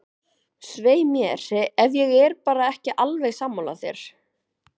Svei mér, ef ég er bara ekki alveg sammála þér.